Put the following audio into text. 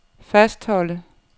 fastholde